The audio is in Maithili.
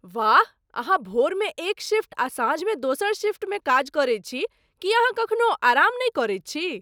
वाह! अहाँ भोरमे एक शिफ्ट आ साँझमे दोसर शिफ्टमे काज करैत छी! की अहाँ कखनौ आराम नहि करै छी?